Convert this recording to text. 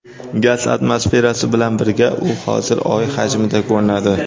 Gaz atmosferasi bilan birga u hozir Oy hajmida ko‘rinadi.